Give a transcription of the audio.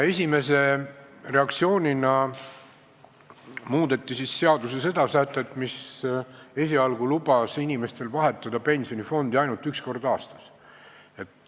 Esimese reaktsioonina muudeti siis seaduse seda sätet, mis esialgu lubas inimestel vahetada pensionifondi ainult üks kord aastas.